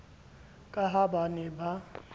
ka ha ba ne ba